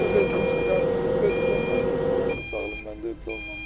O da bezmişdi, qardaşı da bezib ondan götürüb onu bıçaqlayıb mən də olmamışam.